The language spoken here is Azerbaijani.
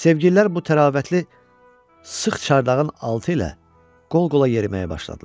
Sevgililər bu təravətli sıx çardağın altı ilə qol-qola yeriməyə başladılar.